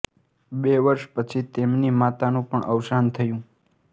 બે વર્ષ પછી તેમની માતાનું પણ અવસાન થયું